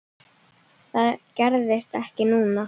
Það gerðist ekki núna.